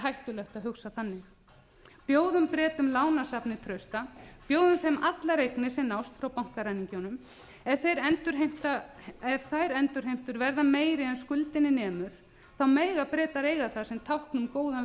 hættulegt að hugsa þannig bjóðum bretum lánasafnið trausta bjóðum þeim allar eignir sem nást frá bankaræningjunum ef þær endurheimtur verða meiri en skuldinni nemur mega bretar eiga það sem tákn um góðan